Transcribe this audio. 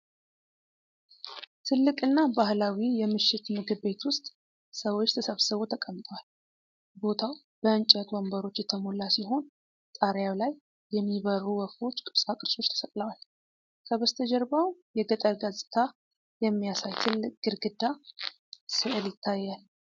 ትልቅ እና ባህላዊ የምሽት ምግብ ቤት ውስጥ ሰዎች ተሰብስበው ተቀምጠዋል። ቦታው በእንጨት ወንበሮች የተሞላ ሲሆን፣ ጣሪያው ላይ የሚበርሩ ወፎች ቅርጻ ቅርጾች ተሰቅለዋል። ከበስተጀርባው የገጠር ገጽታ የሚያሳይ ትልቅ ግድግዳ ስዕል ይታያል።